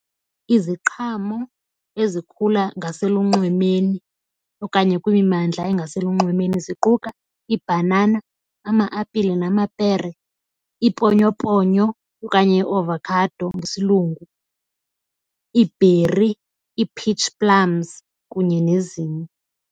Iziqhamo ezikhula ngaselunxwemeni okanye kwimimandla engaselunxwemeni ziquka ibhanana, ama-apile namapere, iiponyoponyo okanye iavokhado ngesiLungu, iibheri, i-peach plums kunye nezinye.